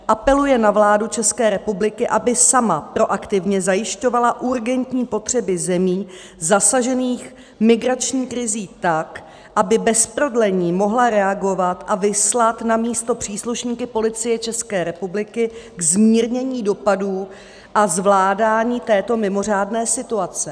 Apeluje na vládu České republiky, aby sama proaktivně zajišťovala urgentní potřeby zemí zasažených migrační krizí tak, aby bez prodlení mohla reagovat a vyslat na místo příslušníky Policie České republiky ke zmírnění dopadů a zvládání této mimořádné situace.